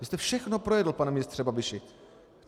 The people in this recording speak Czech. Vy jste všechno projedl, pane ministře Babiši!